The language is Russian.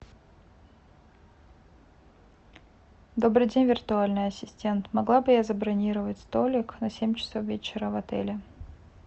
добрый день виртуальный ассистент могла бы я забронировать столик на семь часов вечера в отеле